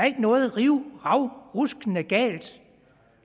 ikke noget rivravruskende galt